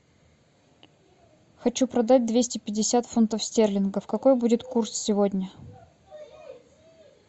хочу продать двести пятьдесят фунтов стерлингов какой будет курс сегодня